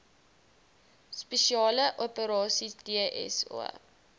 spesiale operasies dso